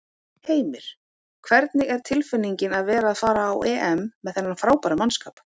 Heimir: Hvernig er tilfinningin að vera að fara á EM með þennan frábæra mannskap?